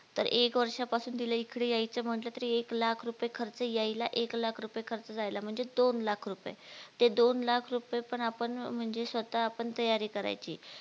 तर एक वर्षा पासून तिला एकडे यायचं म्हटलं तरी एक लाख रुपये खर्च यायला एक लाख रुपये खर्च जायला म्हणजे दोन लाख रुपये, ते दोन लाख रुपये पण आपण म्हणजे स्वतः आपण तयारी करायची